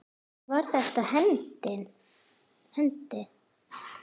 Var þetta hendi?